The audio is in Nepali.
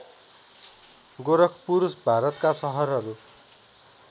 गोरखपुर भारतका सहरहरू